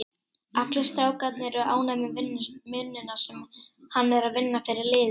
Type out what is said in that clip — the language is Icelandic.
Allir strákarnir eru ánægður með vinnuna sem hann er að vinna fyrir liðið.